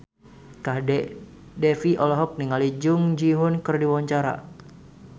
Kadek Devi olohok ningali Jung Ji Hoon keur diwawancara